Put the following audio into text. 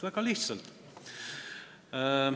Väga lihtsalt.